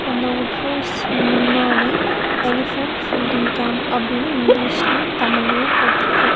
அந்த wood house முன்னாடி elephant feeding camp அப்டின்னு இங்கிலீஷ்லயு தமிழயு போட்ருக்கு.